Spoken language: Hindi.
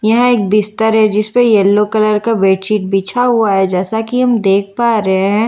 यह एक बिस्तर है जिस पे येलो कलर का बेडशीट बिछा हुआ है जैसा कि हम देख पा रहे हैं।